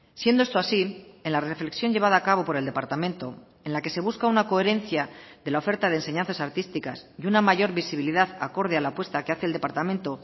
siendo esto así en la reflexión llevada a cabo por el departamento en la que se busca una coherencia de la oferta de enseñanzas artísticas y una mayor visibilidad acorde a la apuesta que hace el departamento